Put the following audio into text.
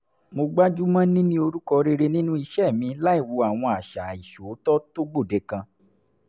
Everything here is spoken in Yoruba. mo gbájú mọ́ níní orúkọ rere nínú iṣẹ́ mi láìwo àwọn àṣà àìṣòótọ́ tó gbòde kan